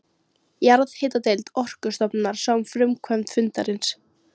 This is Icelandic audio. Jarðhitadeild Orkustofnunar sá um framkvæmd fundarins.